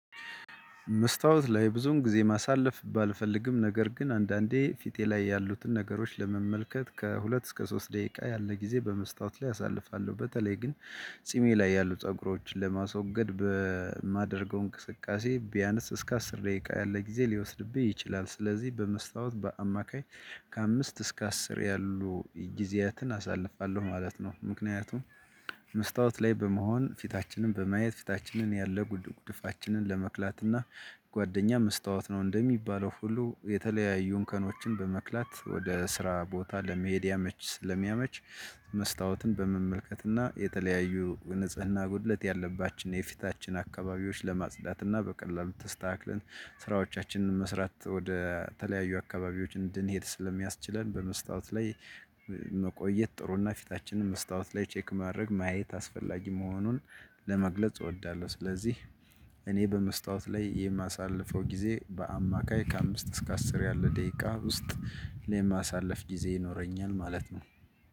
መስታወት ላይ ብዙን ጊዜ ማሳለፍ ባልፈልግም ነገር ግን አንዳንዴ ፊቴ ላይ ያሉትን ነገሮች ለመመልከት ከሁለት እስከ ሶስት ደቂቃ ያለ ጊዜ በመስታወት ላይ አሳልፋለሁ በተለይ ግን ጺሜ ላይ ያሉ ፀጉሮችን ለማስወገድ በማደርገው እንቅስቃሴ ቢያነስ እስከ አስር ደቂቃ ያለ ጊዜ ሊወስድብኝ ይችላል። ስለዚህ በመስታወት በአማካይ ከአምስት እስከ አስር ያሉ ጊዜያትን አሳልፋለሁ ማለት ነው። ምክንያቱም መስታወት ላይ በመሆን ፊታችንን በማየት ፊታችንን ያለ ጉድ ጉድድፋችንን ለመክላት እና ጓደኛ መስታወት ነው እንደሚባለው ሁሉ የተለያዩን እንከኖችን በመክላት ወደ ስራ ቦታ ለመሄድ ያመች። ስለሚያመች መስታወትን በመመልከትና የተለያዩ ንጽህና ጉድለት ያለባችውን የፊታችን አካባቢዎች ለማጽዳት እና በቀላሉ ተስተካክለን ስራዎቻችንን መስራት ወደ ተለያዩ አካባቢዎች እንድንሄድ ስለሚያስችለን በመስታወት ላይ መቆየት ጥሩና ፊታችንን መስታወት ላይ ቼክ ማድረግ ማየት አስፈላጊ መሆኑን ለመግለጽ እወዳለሁ። ስለዚህ እኔ በመስታወት ላይ የማሳልፈው ጊዜ በአማካይ ከአምስት እስከ አስር ያለ ደቂቃ ውስጥ ለማሳለፍ ጊዜ ይኖረኛል ማለት ነው።